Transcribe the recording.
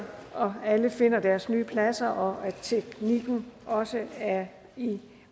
alle finder deres nye pladser og at teknikken også er i